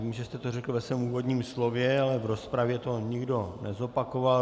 Vím, že jste to řekl ve svém úvodním slově, ale v rozpravě to nikdo nezopakoval.